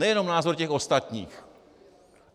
Nejenom názor těch ostatních.